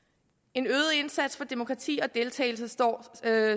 en øget indsats for demokrati og deltagelse står